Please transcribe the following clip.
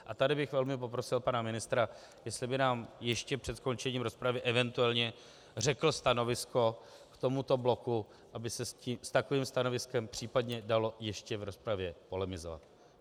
A tady bych velmi poprosil pana ministra, jestli by nám ještě před skončením rozpravy eventuálně řekl stanovisko k tomuto bloku, aby se s takovým stanoviskem případně dalo ještě v rozpravě polemizovat.